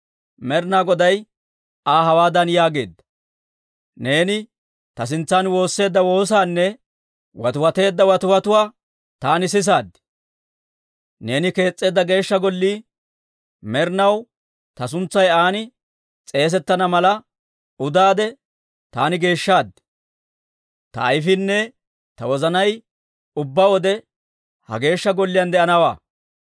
Med'inaa Goday Aa hawaadan yaageedda; «Neeni ta sintsan woosseedda woosaanne watiwateedda watiwatuwaa taani sisaad. Neeni kees's'eedda Geeshsha Gollii med'inaw ta suntsay an s'eesettana mala udaade taani geeshshaad; ta ayfiinne ta wozanay ubbaa wode ha Geeshsha Golliyaan de'anawaa.